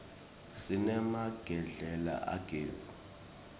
sinemagedlela agezi